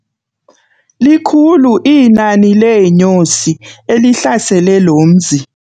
Likhulu iinani leenyosi elihlasele lo mzi.